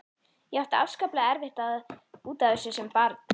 Ég átti afskaplega erfitt út af þessu sem barn.